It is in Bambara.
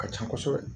Ka ca kosɛbɛ